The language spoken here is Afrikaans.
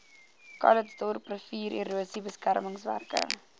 calitzdorp riviererosie beskermingswerke